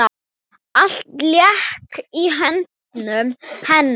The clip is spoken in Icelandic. Allt lék í höndum hennar.